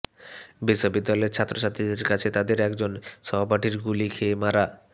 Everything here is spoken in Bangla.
বিশ্ববিদ্যালয়ের ছাত্রছাত্রীদের কাছে তাদের একজন সহপাঠীর গুলি খেয়ে মারা